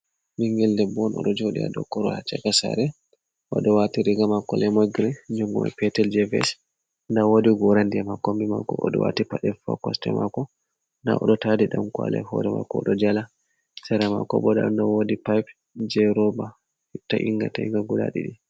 Ɓingel debbo on oɗo joɗi ha Dow korowal ha chaka sare oɗo wati riga mako lemon green nyogoli petel je ves, nda wodi gora ndiyam ha kombi mako oɗo wati pade fu ha kosɗe mako nda oɗo tadi ɗanKwali ha hore mako odo jala, sera mako bo nda ɗo wodi pipe je roba ta’inga ta'inga guda ɗiɗi.